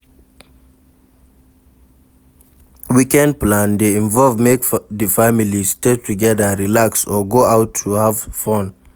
Weekend plan de involve make di family stay together relax or go out to have fun